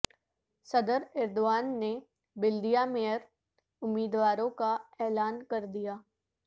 صدر ایردوان نے بلدیہ مئیر امیدواروں کا اعلان کر دیا